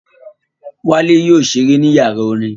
Wálé yóò ṣeré ní yàrá orin